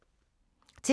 TV 2